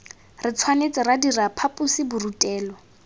re tshwanetse ra dira phaposiborutelo